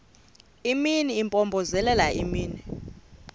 imini impompozelela imini